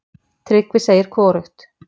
Tryggvi segir hvorugt.